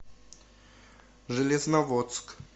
железноводск